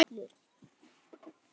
Með heitu vatni og öllu?